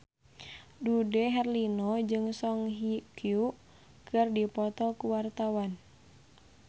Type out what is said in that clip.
Dude Herlino jeung Song Hye Kyo keur dipoto ku wartawan